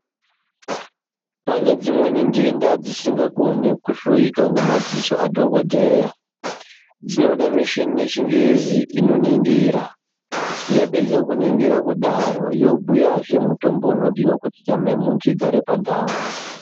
Panezvimwe denda dzisingakoni kuoneka kuhloyiwa nemadziso adhokodheya dzinoda muchini wechingezi unoningira yapedza kuningira kudaro yapedza yobhuyazve mutombo unodiwa kuti nyama yemuntu igare pandau.